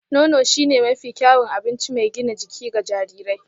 Nono shine mafi kyawun abinci mai gina jiki ga jarirai